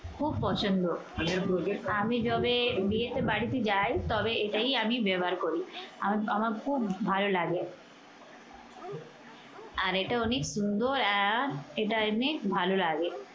খুব পছন্দ। আমি যবে বিয়েতে বাড়িতে যাই তবে এটাই আমি ব্যবহার করি। আমি আমার খুব ভালো লাগে। আর এটা অনেক সুন্দর আহ এটা অনেক ভালো লাগে।